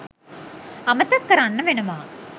අමතක කරන්න වෙනව.